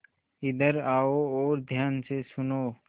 इधर आओ और ध्यान से सुनो